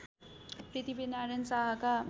Prithvinarayan शाहका